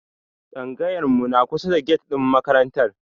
Tsangayar mu na kusa da get ɗin makarantar.